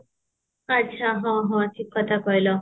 ଆଚ୍ଛା ହଁ ହଁ ଠିକ କଥା କହିଲ